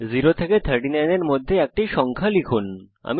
0 থেকে 39 এর মধ্যে একটি সংখ্যা লিখুন